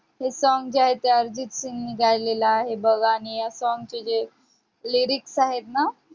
हे song जे आहे ते अर्जित सिंह ने गायलेलं आहे बघ, आणि या song चे जे lyrics आहेत ना,